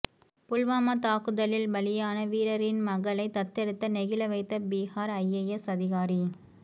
புல்வாமா தாக்குதலில் பலியான வீரரின் மகளைத் தத்தெடுத்த நெகிழவைத்த பிஹார் ஐஏஎஸ் அதிகாரி